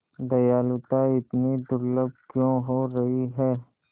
दयालुता इतनी दुर्लभ क्यों हो रही है